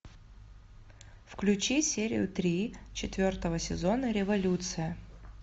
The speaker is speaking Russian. включи серию три четвертого сезона революция